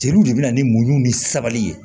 Jeliw de bɛ na ni muɲu ni sabali ye